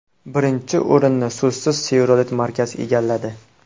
Birinchi o‘rinni so‘zsiz Chevrolet markasi egalladi.